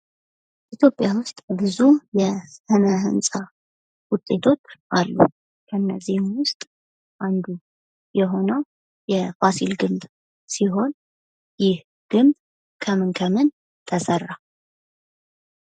ኢትዮጵያ ውስጥ ብዙ የስነ ህንጻ ውጤቶች አሉ። ከነዚህ ውስጥ አንዱ የሆነው የፋሲል ግንብ ሲሆን ይህ ግንብ ከምን ከምን ተሰራ?